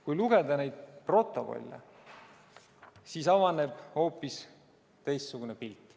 Kui lugeda neid protokolle, siis avaneb hoopis teistsugune pilt.